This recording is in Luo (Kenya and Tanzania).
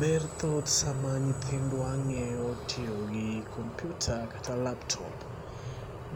Ber thoth sama nyithindwa ng'eyo tiyo gi computer kata laptop,